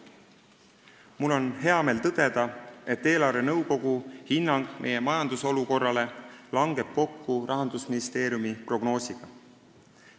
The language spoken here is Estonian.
Mul on hea meel tõdeda, et eelarvenõukogu hinnang meie majandusolukorrale langeb kokku Rahandusministeeriumi prognoosiga.